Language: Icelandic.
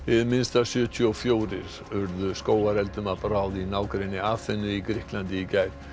Hið minnsta sjötíu og fjórir urðu skógareldum að bráð í nágrenni Aþenu í Grikklandi í gær